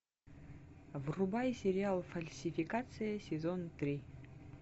врубай сериал фальсификация сезон три